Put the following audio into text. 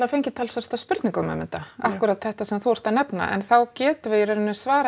fengið talsvert af spurningum um þetta akkúrat þetta sem þú ert að nefna en þá getum við í raun svarað